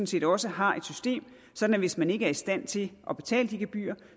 set også har et system sådan at hvis man ikke er i stand til at betale de gebyrer